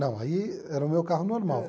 Não, aí era o meu carro normal.